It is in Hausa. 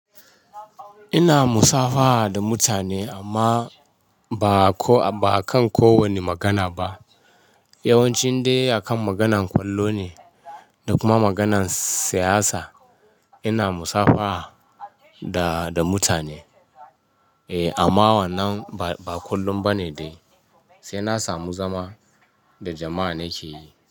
Ina musafaha da mutane amma ba kan kowane magana ba. Yawanci dai akan maganan ƙwallo ne da kuma maganan siyasa ina musafaha da mutane. E, nama wannan ba kullum ba ne dai, sai na samu zama da jama'a nake yi.